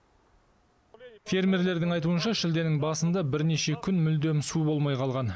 фермерлердің айтуынша шілденің басында бірнеше күн мүлдем су болмай қалған